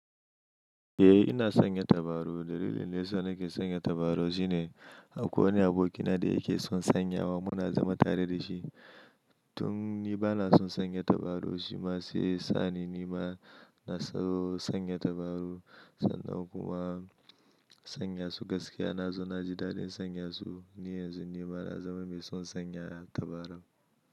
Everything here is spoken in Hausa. Eh ina sanya tabaru. Dalilin dayasa nake sanya tabaru shine akwai wani abokina da yake son sanyawa muna zama tare da shi. Tun ni bana son sanya tabaru shi ma sai yasa ni nima ina so sanya tabaru sannan kuma sanya su gaskiya na zo na ji daɗin sanya su. Ni yanzu nima na zama mai son sanya tabaru.